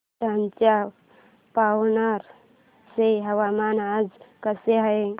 वर्ध्याच्या पवनार चे हवामान आज कसे आहे